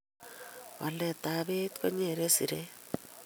Waletab beit konyere siret